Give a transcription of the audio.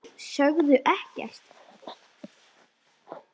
Sögðu ekkert.